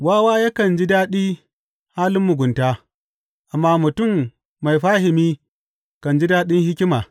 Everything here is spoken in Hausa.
Wawa yakan ji daɗi halin mugunta, amma mutum mai fahimi kan ji daɗin hikima.